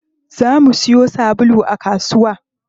Za mu siyo sabulu a kasuwa.